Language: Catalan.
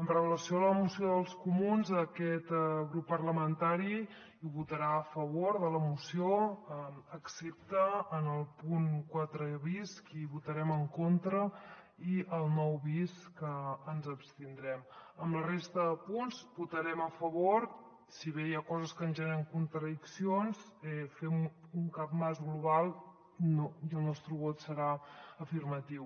amb relació a la moció dels comuns aquest grup parlamentari hi votarà a favor de la moció excepte en el punt quatre bis que hi votarem en contra i nou bis que ens abstindrem de la resta de punts votarem a favor si bé hi ha coses que ens generen contradiccions fem un capmàs global i el nostre vot serà afirmatiu